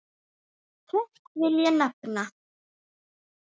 Tvennt vil ég nefna.